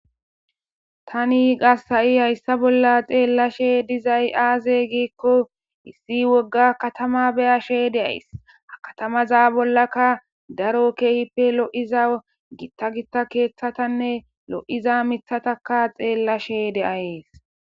Tani gassa7i hayssa bolla xeellashe dizay aaze giikko issi wogga katama beyashe deays a katamaza bollaka daro keehippe lo7iza gitta gitta keeththatanne lo7iza mithataka xeellashe de7ayees.